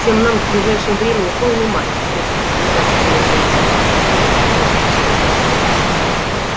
всем нам в ближайшем времени полный мат если ты понимаешь что я имею в виду красиво усмехнулся сухой